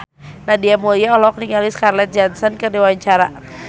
Nadia Mulya olohok ningali Scarlett Johansson keur diwawancara